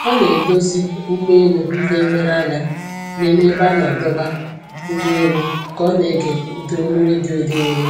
Ọ na-edozi ụgbọ elu ndị nlereanya n'ime ebe a na-adọba ụgbọ elu ka ọ na-ege ụda olu redio dị nro